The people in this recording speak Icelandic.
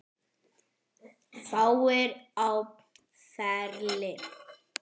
Fáir á ferli.